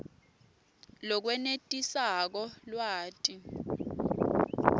lokwenetisako lwati